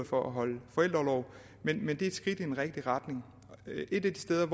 for at holde forældreorlov men det er et skridt i den rigtige retning et af de steder